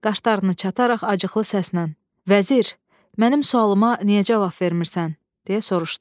Qaşlarını çatararaq acıqlı səslə: "Vəzir, mənim sualıma niyə cavab vermirsən?" - deyə soruşdu.